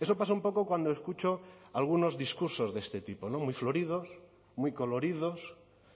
eso pasa un poco cuando escucho algunos discursos de este tipo no muy floridos muy coloridos